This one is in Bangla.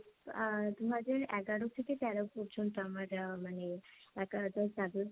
অ্যা দুহাজার এগারো থেকে তেরো পর্যন্ত আমার আহ মানে একা একাই